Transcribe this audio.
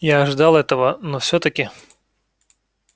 я ожидал этого но всё-таки